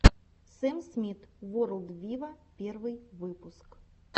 сэм смит ворлд виво первый выпуск